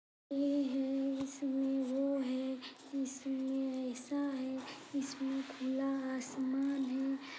यह है इसमें वो है इसमें ऐसा है इसमें खुला आसमान है।